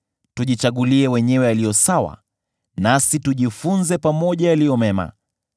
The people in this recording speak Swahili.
Tujichagulie wenyewe yaliyo sawa, nasi tujifunze pamoja yaliyo mema.